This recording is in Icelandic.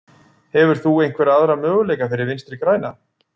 Hefur þú einhverja aðra möguleika fyrir Vinstri græna?